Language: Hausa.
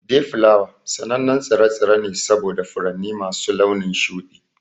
Dayflower sanannen tsire-tsire ne saboda furanni masu launin shuɗi.